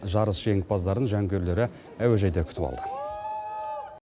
жарыс жеңімпаздарын жанкүйерлері әуежайда күтіп алды